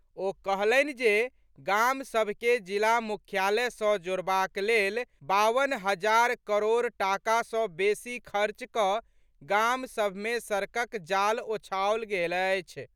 ओ कहलनि जे गाम सभ के जिला मुख्यालय सॅ जोड़बाक लेल बावन हजार करोड़ टाका सॅ बेसी खर्च कऽ गाम सभ मे सड़कक जाल ओछाओल गेल अछि।